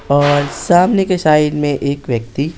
और सामने के साइड में एक व्यक्ति---